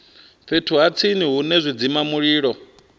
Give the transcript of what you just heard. fhethu ha tsini hune zwidzimamulilo